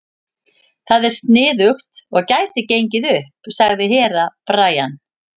Það er sniðugt og gæti gengið upp, sagði Herra Brian.